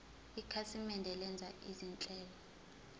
ikhasimende lenza izinhlelo